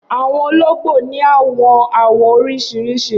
Awọn ologbo ni awọn awọ oriṣiriṣi.